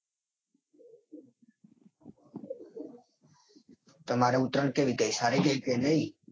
તમારે ઉત્તરોણ કેવી ગઈ. સારી ગઈ કે નઈ.